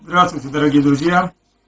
здравствуйте дорогие друзья